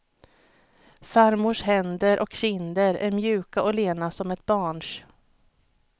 Farmors händer och kinder är mjuka och lena, som ett barns.